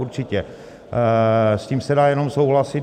Určitě, s tím se dá jenom souhlasit.